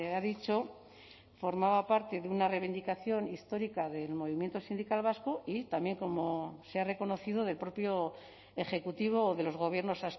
ha dicho formaba parte de una reivindicación histórica del movimiento sindical vasco y también como se ha reconocido del propio ejecutivo de los gobiernos